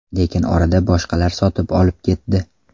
Lekin orada boshqalar sotib olib ketdi.